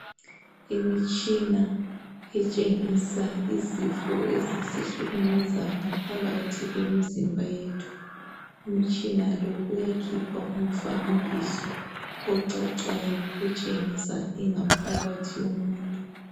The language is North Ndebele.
Imitshina etshengisa izifo ezisihlukumeza ngaphakathi kwemizimba yethu umutshina lo uyakhipha umfanekiso ocacayo otshengisa ingaphakathi yomuntu.